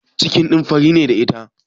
Cikin fari ne da ita?